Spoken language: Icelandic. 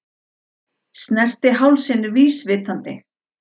Snerti hálsinn vísvitandi.